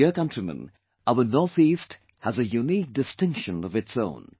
My dear countrymen, our NorthEast has a unique distinction of its own